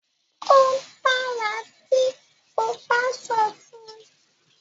o dára tí o ba sọ fun.